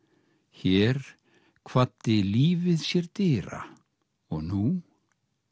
hér kvaddi lífið sér dyra og nú